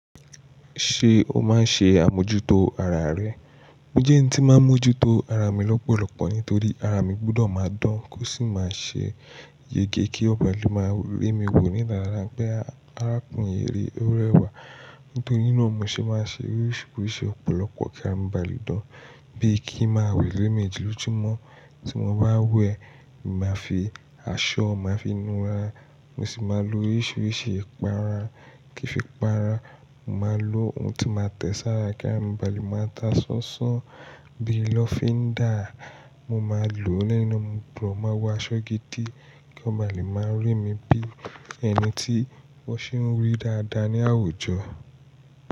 Ṣé o máa ń ṣe àmójútó ara rẹ? Mo jẹ́ ẹni tí máa ń mójútó ara mi lọ́pọ̀lọ́pọ̀ nítorí ara mi gbọ́dọ̀ máa dán, kó sì máa ṣe yege kí ó ba lè máa rí mi wò ní dada pé arákùnrin yìí ó rẹwà. Nítorí náà mo ṣe máa ń ṣe oríṣiríṣi ọ̀pọ̀lọpọ̀ kí ara mi ba lè dán bí i kí n máa wẹ́ lẹ́ẹ̀mẹjì lójoojúmọ́ tí mo bá wẹ, mo máa fi aṣọ, mo máa fi nura, mo sì máa lo oríṣiríṣi ìpara kí n fi pa ara. Mo máa lo ohun tí máa tẹ sara kí ara mi ba lè máa ta sánsán bí i lọ́fíndà mo máa lò ó lẹ́nu, mo gbọ́dọ̀ máa wọ aṣọ gidi kí ó ba lè máa rí mi bí ẹni tí wọ́n ṣe ń rí dáadáa ní àwùjọ.